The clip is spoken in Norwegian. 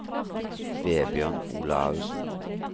Vebjørn Olaussen